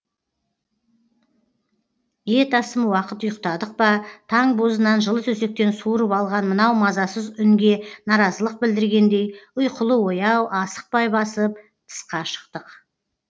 ет асым уақыт ұйықтадық па таң бозынан жылы төсектен суырып алған мынау мазасыз үнге наразылық білдіргендей ұйқылы ояу асықпай басып тысқа шықтық